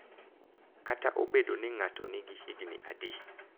Kata obedo ni ng’ato nigi higni adi.